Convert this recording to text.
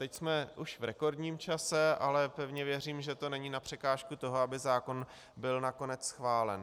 Teď jsme už v rekordním čase, ale pevně věřím, že to není na překážku toho, aby zákon byl nakonec schválen.